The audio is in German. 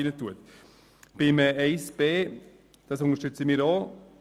Wir unterstützen auch die Planungserklärung 1b «